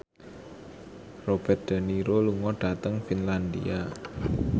Robert de Niro lunga dhateng Finlandia